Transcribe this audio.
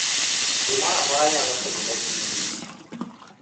Gimoro amora nyalo timore e piny Libya.